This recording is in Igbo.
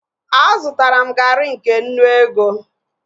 Azụtara m garị nke nnu ego